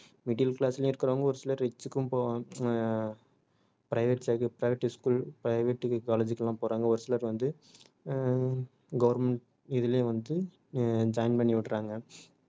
middle class லயும் இருக்குறவங்க ஒரு சிலர் rich கும் போவா~ ஆஹ் private ச~ private school private college க்லாம் போறாங்க ஒரு சிலர் வந்து ஆஹ் government இதுலயும் வந்து ஆஹ் join பண்ணி விடுறாங்க